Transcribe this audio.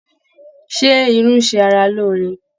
Ṣé irú ń ṣe ara lóore?